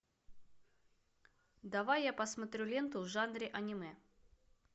давай я посмотрю ленту в жанре аниме